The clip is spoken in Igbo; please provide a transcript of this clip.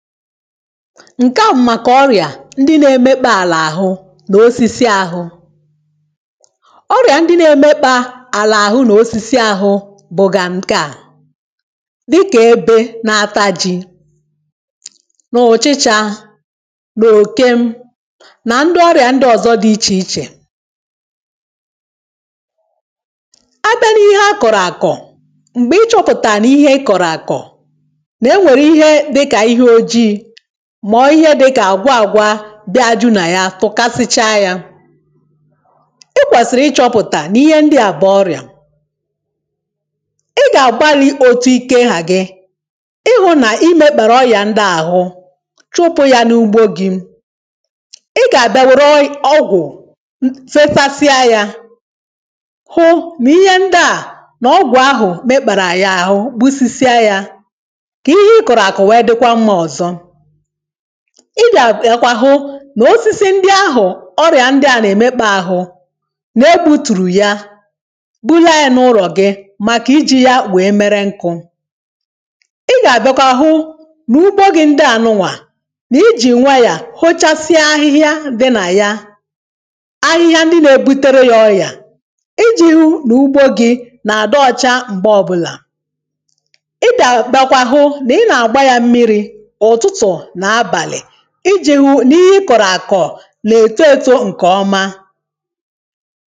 ǹke à m màkà ọrị̀à ndị na-emekpȧ àlà àhụ nà osisi ȧhụ̇ ọrị̀à ndị na-emekpȧ àlà àhụ nà osisi ȧhụ̇ bụ̀gà nke à dịkà ebe na-ata ji, nà ọ̀chịchȧ, nà òke nà ndị ọrị̀à ndị ọ̀zọ dị ichè ichè a bịa n’ihe akọ̀rọ̀ àkọ̀ m̀gbè ịchọ̇pụ̀tà nà ihe ikọ̀rọ̀ àkọ̀ na enwere ihe dịka ihe oji mà ihe dị kà àgwa àgwa bịa ajụ̇ nà ya tụ̀kasịchaa yȧ i kwèsìrì ịchọ̇pụ̀tà nìihe ndị à bụ̀ ọrịà ị gà-àgbali̇ otu ike hà gị ịhụ̇ nà imekpàrà ọrị̀à ahụ chụpụ̇ ya n’ugbȯ gị̇ ị gà-àbịa wère ọgwụ̀ fefasịa yȧ hụ nìihe ndị à nà ọgwụ̀ ahụ̀ mekpàrà àya àhụ gbusisie yȧ ka ihe ị kọrọ akọ dịkwa mma. ị gà-àbịakwa hụ nà osisi ndị ahụ̀ ọrịà ndị à nà-èmekpȧ ahụ nà e butùrù ya bulẹẹ n’ụlọ̀ gị̇ màkà ijì yȧ wèe mẹrẹ nkụ̇ ị gà-àbịakwa hụ n'ugbo gị̇ ndị ànụwà nà ijì nwayà hòchasịa ahịhịa dị nà ya ahịhịa ndị na-ebutere yȧ ọrịà ijì hụ n'ugbo gị̇ nà-àdị ọchȧ m̀gbe ọbụlà ị gà-àbịakwa hụ nà ị nà-àgba yȧ mmiri̇ ụtụtụ na abalị iji̇ hụ nì ihe ị kọ̀rọ̀ àkọ̀ nà-ètó ètò ǹkè ọma